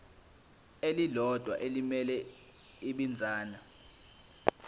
elilodwa elimele ibinzana